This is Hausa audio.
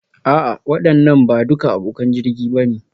A'a waɗannan ba duka abokan jirgin ba ne